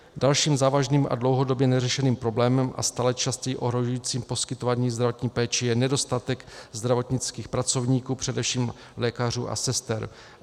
Dalším závažným a dlouhodobě neřešeným problémem a stále častěji ohrožujícím poskytování zdravotní péče je nedostatek zdravotnických pracovníků, především lékařů a sester.